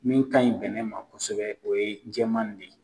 Min kaɲi bɛnɛ ma kosɛbɛ, o ye cɛman de ye.